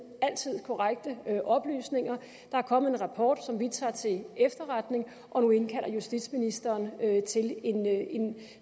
altid give korrekte oplysninger der er kommet en rapport som vi tager til efterretning og nu indkalder justitsministeren til en